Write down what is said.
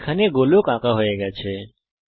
এখানে গোলক আঁকা হয়ে গেছে